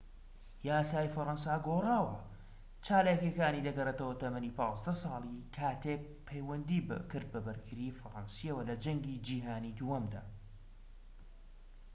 یاسای فەرەنسا گۆڕاوە. چالاکیەکانی دەگەڕێتەوە تەمەنی ١٥ ساڵی کاتێك پەیوەندی کرد بە بەرگریی فەرەنسییەوە لە جەنگی جیهانیی دووهەمدا